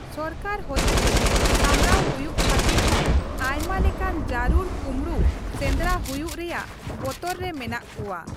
ᱥᱚᱨᱠᱟᱨ ᱦᱚᱛᱮᱛᱮ ᱥᱟᱢᱲᱟᱣ ᱦᱩᱭᱩᱜ ᱠᱷᱟᱹᱛᱤᱨ ᱦᱚᱸ ᱟᱭᱢᱟ ᱞᱮᱠᱟᱱ ᱡᱟᱹᱨᱩᱲ ᱠᱩᱢᱲᱩ ᱥᱮᱸᱫᱽᱨᱟ ᱦᱩᱭᱩᱜ ᱨᱮᱭᱟᱜ ᱵᱚᱛᱚᱨ ᱨᱮ ᱢᱮᱱᱟᱜ ᱠᱚᱣᱟ ᱾